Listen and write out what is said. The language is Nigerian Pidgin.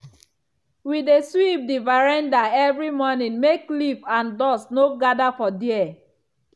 we dey sweep the veranda every morning make leaf and dust no gather for there.